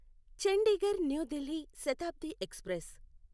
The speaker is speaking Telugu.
Chandigarh new Delhi Shatabdi express